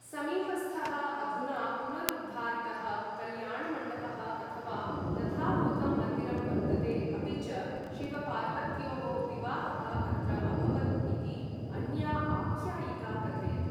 समीपस्थः अधुना पुनरुद्धारितः कल्याणमण्डपः अथ वा तथाभूतं मन्दिरं वर्तते अपि च शिवपार्वत्योः विवाहः अत्र अभवत् इति अन्या आख्यायिका कथयति।